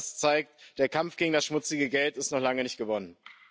All das zeigt Der Kampf gegen das schmutzige Geld ist noch lange nicht gewonnen.